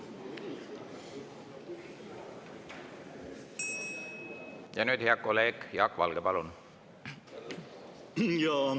Ja nüüd hea kolleeg Jaak Valge, palun!